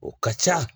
O ka ca